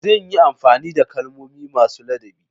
Zan yi amfani da kalmomi masu ladabi.